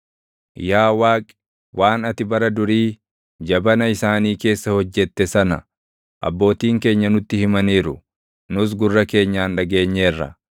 Yaa Waaqi, waan ati bara durii, jabana isaanii keessa hojjette sana, abbootiin keenya nutti himaniiru; nuus gurra keenyaan dhageenyeerra.